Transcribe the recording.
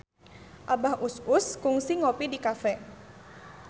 Abah Us Us kungsi ngopi di cafe